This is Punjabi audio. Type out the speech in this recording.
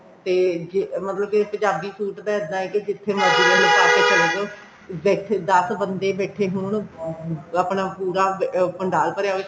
ਤੇ ਜੇ ਮਤਲਬ ਕੇ ਪੰਜਾਬੀ suit ਦਾ ਇੱਦਾਂ ਐ ਕਿ ਜਿੱਥੇ ਮਰਜੀ ਪਾਕੇ ਚਲਜੋ ਬੈਠੇ ਦਸ ਬੰਦੇ ਬੈਠੇ ਹੋਣ ਆਪਣਾ ਪੂਰਾ ਭੰਡਾਲ ਭਰਿਆ ਹੋਵੇ